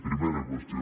primera qüestió